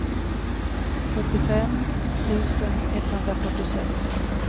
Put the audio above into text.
sjuttiofem tusen etthundrafyrtiosex